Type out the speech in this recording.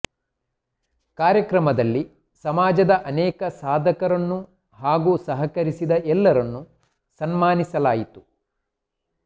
ಕಾರ್ಯಕ್ರಮದಲ್ಲಿ ಸಮಾಜದ ಅನೇಕ ಸಾಧಕರನ್ನು ಹಾಗೂ ಸಹಕರಿಸಿದ ಎಲ್ಲರನ್ನು ಸನ್ಮಾನಿಸಲಾಯಿತು